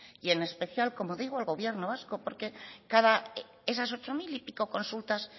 y en especial como digo al gobierno vasco porque esas ocho mil y pico consultas